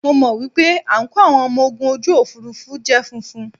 Mo mọ̀ wípé àǹkóò àwọn ọmọ ogun ojú òfuurufú jẹ́ funfun.